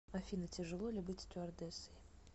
афина тяжело ли быть стюардессой